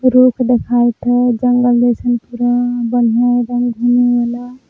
रुख देखाइत हय जंगल जइसन पुरा बढ़िया एदम घूमे ला।